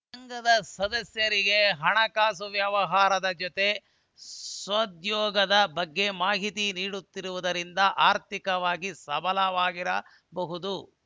ಸಂಘದ ಸದಸ್ಯರಿಗೆ ಹಣಕಾಸು ವ್ಯವಹಾರದ ಜೊತೆ ಸ್ವಉದ್ಯೋಗದ ಬಗ್ಗೆ ಮಾಹಿತಿ ನೀಡುತ್ತಿರುವುದರಿಂದ ಆರ್ಥಿಕವಾಗಿ ಸಬಲ ವಾಗಿ ರಾಬಹುದು